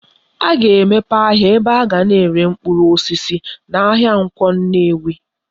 A ga-emepe ahia ebe aga na ere mkpuru osisi na ahia Nkwo Nnewi